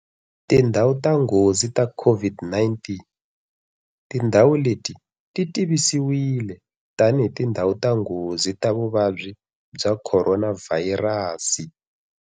Tindhawu ta nghozi ta COVID-19- Tindhawu leti ti tivisiwile tanihi tindhawu ta nghozi ta vuvabyi bya Khoronavhayirasi.